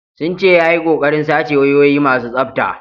Sun ce ya yi kokarin sace wayoyi masu tsafta.